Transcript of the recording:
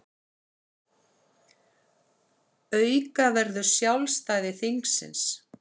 Auka verður sjálfstæði þingsins